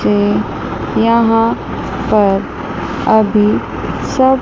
ऐ यहां पर अभी सब--